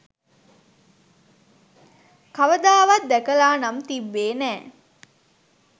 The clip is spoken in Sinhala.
කවදාවත් දැකලා නම් තිබ්බේ නෑ.